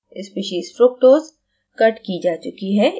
species fructose cut की जा चुकी है